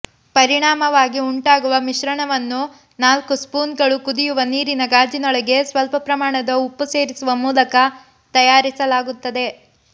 ಪರಿಣಾಮವಾಗಿ ಉಂಟಾಗುವ ಮಿಶ್ರಣವನ್ನು ನಾಲ್ಕು ಸ್ಪೂನ್ಗಳು ಕುದಿಯುವ ನೀರಿನ ಗಾಜಿನೊಳಗೆ ಸ್ವಲ್ಪ ಪ್ರಮಾಣದ ಉಪ್ಪು ಸೇರಿಸುವ ಮೂಲಕ ತಯಾರಿಸಲಾಗುತ್ತದೆ